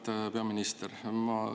Auväärt peaminister!